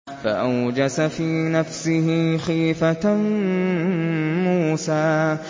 فَأَوْجَسَ فِي نَفْسِهِ خِيفَةً مُّوسَىٰ